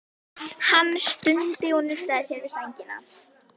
Hann stundi og nuddaði sér við sængina.